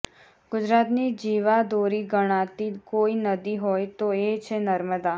ગુજરાતની જીવા દોરી ગણાતી કોઈ નદી હોય તો એ છે નર્મદા